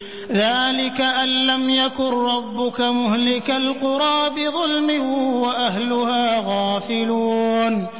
ذَٰلِكَ أَن لَّمْ يَكُن رَّبُّكَ مُهْلِكَ الْقُرَىٰ بِظُلْمٍ وَأَهْلُهَا غَافِلُونَ